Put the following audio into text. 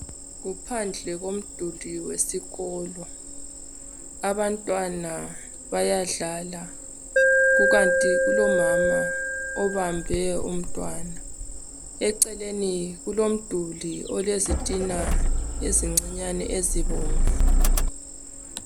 Kuphandle komduli wesikolo. Abantwana bayadlala. Kukanti kulomama obambe umntwana. Eceleni kulomduli olezitina ezincinyani, ezibomvu.